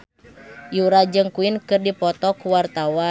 Yura jeung Queen keur dipoto ku wartawan